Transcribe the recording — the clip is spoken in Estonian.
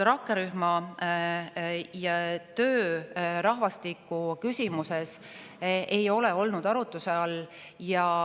Rakkerühma töö rahvastikuküsimustes ei ole olnud arutuse all.